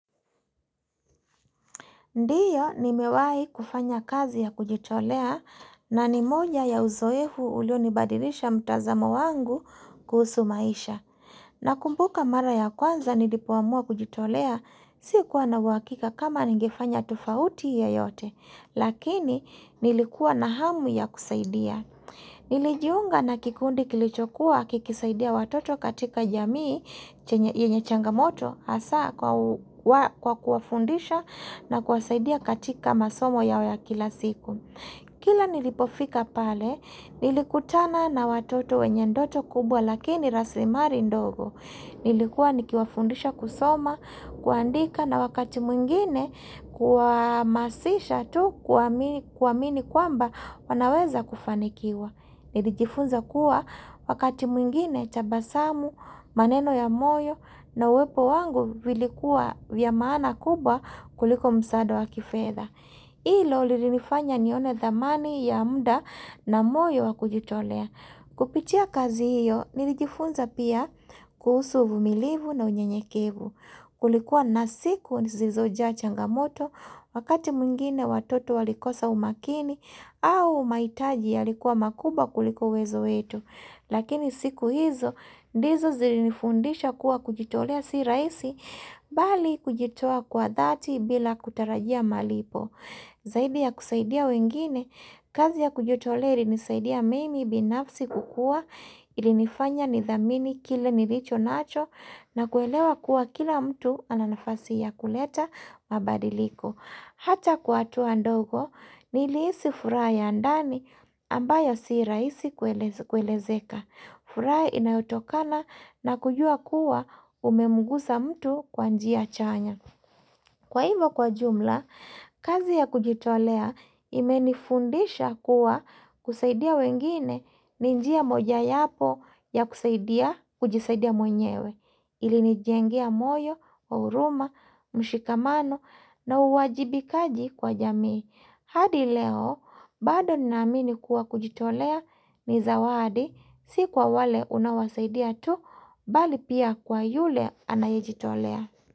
Ndiyo ni mewahi kufanya kazi ya kujitolea na ni moja ya uzoefu ulio nibadilisha mtazamo wangu kuhusu maisha. Na kumbuka mara ya kwanza ni lipoamua kujitolea si kuwha na uhakika kama nigefanya tofauti ye yote. Lakini nilikuwa na hamu ya kusaida. Nilijiunga na kikundi kilichokuwa kikisaidia watoto katika jamii yenye changamoto hasa kwa kuwafundisha na kuwasaidia katika masomo yao ya kila siku Kila nilipofika pale nilikutana na watoto wenye ndoto kubwa lakini rasimali ndogo Nilikuwa nikiwafundisha kusoma, kuandika na wakati mwingine kuamasisha tu kuamini kwamba wanaweza kufanikiwa. Nilijifunza kuwa wakati mwngine tabasamu, maneno ya moyo na uwepo wangu vilikuwa vya maana kubwa kuliko msaada wa kifedha. Hilo lilinifanya nione thamani ya muda na moyo wakujitolea. Kupitia kazi hiyo, nilijifunza pia kuhusu uvumilivu na unyenyekevu. Kulikuwa na siku, zilizojaa changamoto, wakati mwingine watoto walikosa umakini, au umahitaji ya likuwa makubwa kulikouwezo wetu. Lakini siku hizo, ndizo zilifundisha kuwa kujitolea si rahisi, bali kujitoa kwa dhati bila kutarajia malipo. Zaidi ya kusaidia wengine, kazi ya kujitolea ilinisaidia mimi binafsi kukua ilinifanya nithamini kile nilicho nacho na kuelewa kuwa kila mtu ananafasi ya kuleta mabadiliko. Hata kwahatua ndogo, nilihisi furaha ya ndani ambayo sirahisi kuelezeka. Furaha inayotokana na kujua kuwa umemgusa mtu kwanjia chanya. Kwa hivyo kwa jumla, kazi ya kujitolea imenifundisha kuwa kusaidia wengine ninjia moja yapo ya kusaidia kujisaidia mwenyewe, ili nijengea moyo, huruma, mshikamano na uwajibikaji kwa jamii. Hadi leo, bado ninaamini kuwa kujitolea ni zawadi, si kwa wale unaosaidia tu, bali pia kwa yule anayejitolea.